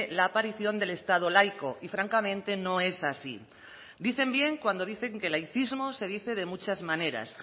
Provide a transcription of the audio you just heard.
la aparición del estado laico y francamente no es así dicen bien cuando dicen que el laicismo se dice de muchas maneras